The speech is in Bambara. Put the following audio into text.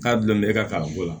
K'a bila e ka kalanko la